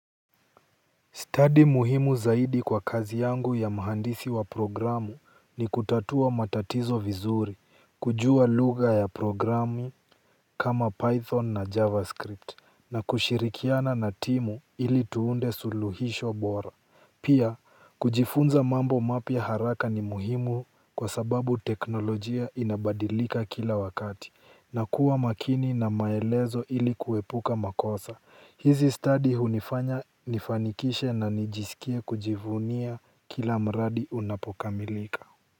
Stadi muhimu zaidi kwa kazi yangu ya mahandisi wa programu ni kutatua matatizo vizuri, kujua lugha ya programu kama python na javascript na kushirikiana na timu ili tuunde suluhisho bora. Pia, kujifunza mambo mapya haraka ni muhimu kwa sababu teknolojia inabadilika kila wakati, na kuwa makini na maelezo ili kuepuka makosa. Hizi stadi hunifanya nifanikishe na nijisikie kujivunia kila mradi unapokamilika.